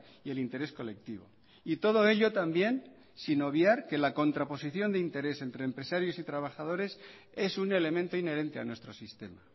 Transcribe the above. y el interés colectivo y todo ello también sin obviar que la contraposición de interés entre empresarios y trabajadores es un elemento inherente a nuestro sistema